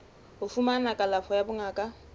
ho fumana kalafo ya bongaka